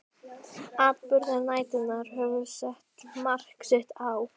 Atburðir næturinnar höfðu sett mark sitt á